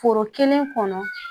Foro kelen kɔnɔ